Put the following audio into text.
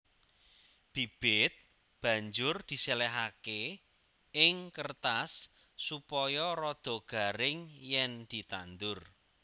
Bibit banjur diséléhaké ing kêrtas supaya rada garing yèn ditandur